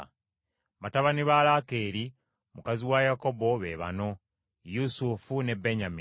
Batabani ba Laakeeri, mukazi wa Yakobo be bano Yusufu ne Benyamini.